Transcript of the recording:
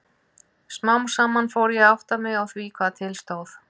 Smám saman fór ég að átta mig á því hvað til stóð.